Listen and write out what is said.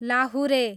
लाहुरे